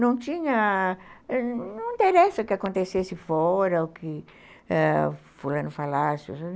Não tinha... Não interessa o que acontecesse fora, o que ãh fulano falasse.